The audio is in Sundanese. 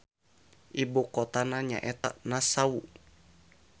Ibu kotana nyaeta Nassau.